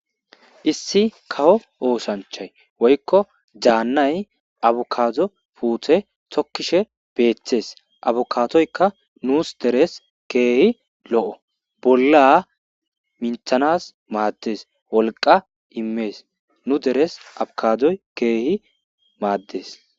Issi kawo oosanchay woykko dasnay abukaado puutte tokishe beetes. Abukaadoykka nuus deres keehi lo7o , bolla minththanas maadees. Wolqqa immes. Nu deres abikaadoy keehi maadees.